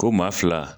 Ko maa fila